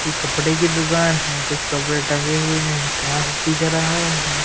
ये कपड़े की दुकान है कुछ कपड़े टंगे हुए हैं काश दिख रहा है।